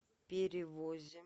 перевозе